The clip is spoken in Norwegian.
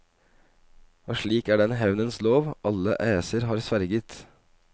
Og slik er den hevnens lov alle æser har sverget.